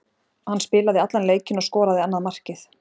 Hann spilaði allan leikinn og skoraði annað markið.